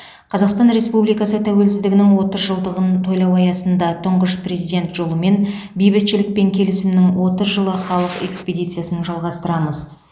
қазақстан республикасы тәуелсіздігінің отыз жылдығын тойлау аясында тұңғыш президент жолымен бейбітшілік пен келісімнің отыз жылы халық экспедициясын жалғастырамыз